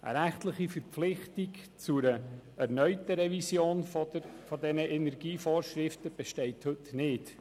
Eine rechtliche Verpflichtung zu einer erneuten Revision dieser Energievorschriften besteht heute nicht.